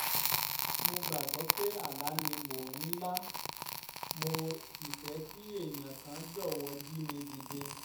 mo gbàgbọ́ pé àlá ni mò ń lá mo sì fẹ́ kí èèyàn kan jọ̀wọ́ jí mi dìde